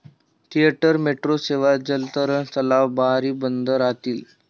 Theatre, metro सेवा, जलतरण तलाव, बारही बंद राहतील.